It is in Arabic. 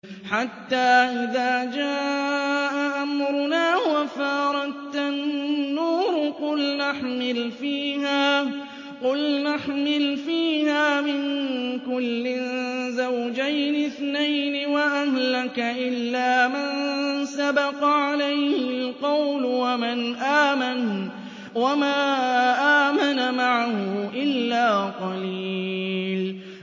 حَتَّىٰ إِذَا جَاءَ أَمْرُنَا وَفَارَ التَّنُّورُ قُلْنَا احْمِلْ فِيهَا مِن كُلٍّ زَوْجَيْنِ اثْنَيْنِ وَأَهْلَكَ إِلَّا مَن سَبَقَ عَلَيْهِ الْقَوْلُ وَمَنْ آمَنَ ۚ وَمَا آمَنَ مَعَهُ إِلَّا قَلِيلٌ